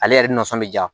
Ale yɛrɛ nisɔn bɛ ja